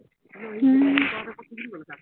উম